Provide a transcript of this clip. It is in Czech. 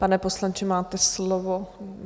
Pane poslanče, máte slovo.